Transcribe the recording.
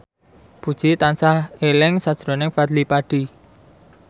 Puji tansah eling sakjroning Fadly Padi